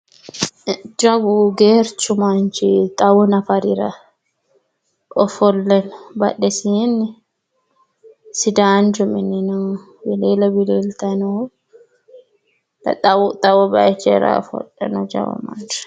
Jawu geerchu manchi xawu nafarira ofolle no. Badhesiinni sidaanchu mini no wiliile wiliiltanni noohu. Xawu bayichira ofolle no jawu manchi.